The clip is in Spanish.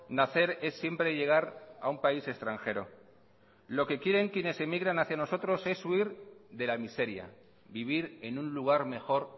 nacer es siempre llegar a un país extranjero lo que quieren quienes emigran hacia nosotros es huir de la miseria vivir en un lugar mejor